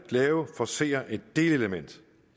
forcere et delelement